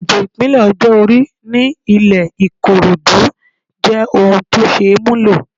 Ètò ipele ọjọ́ orí ní ilẹ Ikorodu jẹ́ ohun tó ṣeé múlò.